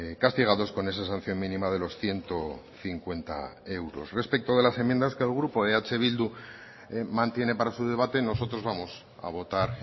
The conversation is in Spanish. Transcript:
castigados con esa sanción mínima de los ciento cincuenta euros respecto de las enmiendas que el grupo eh bildu mantiene para su debate nosotros vamos a votar